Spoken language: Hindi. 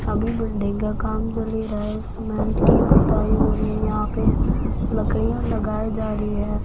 अभी बिल्डिंग का काम चल ही रहा है सीमेंट की पुताई हो रही है यहां पे लकड़ीयां लगाई जा रही है।